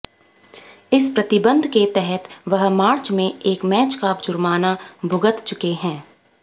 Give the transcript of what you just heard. इस प्रतिबंध के तहत वह मार्च में एक मैच का जुर्माना भुगत चुके हैं